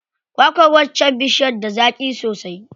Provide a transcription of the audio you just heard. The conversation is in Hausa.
Kwa kwar waccar bishiyar da zaƙi sosai.